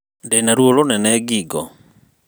Ndina rũo rũnene ngingo